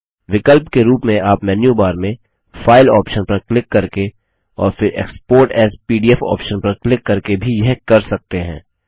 विकल्प के रूप में आप मेन्यू बार में फाइल ऑप्शन पर क्लिक करके और फिर एक्सपोर्ट एएस पीडीएफ ऑप्शन पर क्लिक करके भी यह कर सकते हैं